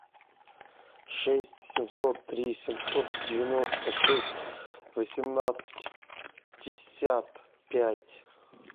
шесть семьсот три семьсот девяносто шесть восемнадцать пятьдесят пять